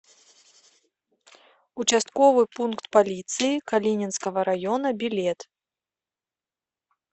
участковый пункт полиции калининского района билет